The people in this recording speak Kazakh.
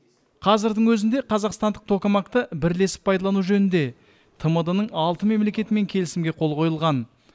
қазірдің өзінде қазақстандық токамак ты бірлесіп пайдалану жөнінде тмд ның алты мемлекетімен келісімге қол қойылған